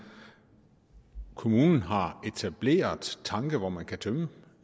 kommunen har etableret tanke hvor man kan tømme